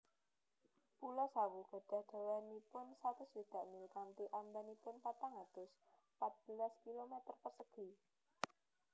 Pulo Sawu gadhah dawanipun satus swidak mil kanthi amabanipun patang atus pat belas kilometer persegi